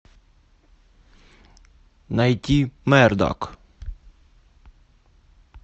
найти мердок